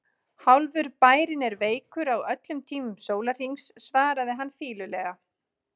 Hálfur bærinn er veikur á öllum tímum sólarhrings svaraði hann fýlulega.